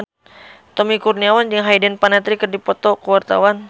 Tommy Kurniawan jeung Hayden Panettiere keur dipoto ku wartawan